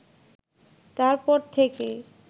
তার পর থেকেই